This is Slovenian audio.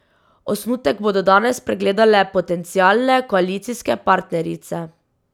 Osnutek bodo danes pregledale potencialne koalicijske partnerice.